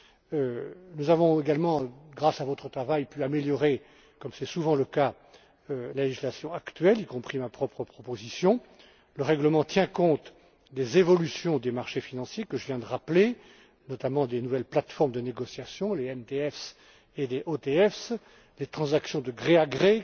Grâce à votre travail, nous avons également pu améliorer, comme c'est souvent le cas, la législation actuelle, y compris ma propre proposition. Le règlement tient compte des évolutions des marchés financiers que je viens de rappeler, notamment les nouvelles plateformes de négociation, les MTF et les OTF, les transactions de gré à gré,